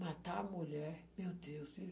matar a mulher, meu Deus, viu.